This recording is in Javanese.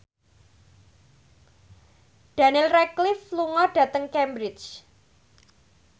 Daniel Radcliffe lunga dhateng Cambridge